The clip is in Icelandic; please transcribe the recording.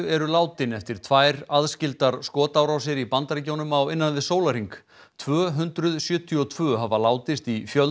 eru látin eftir tvær aðskildar skotárásir í Bandaríkjunum á innan við sólarhring tvö hundruð sjötíu og tvö hafa látist í